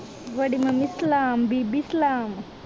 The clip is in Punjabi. ਵੱਡੀ ਮੰਮੀ ਸਲਾਮ, ਬੀਬੀ ਸਲਾਮ।